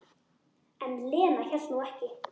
En Lena hélt nú ekki.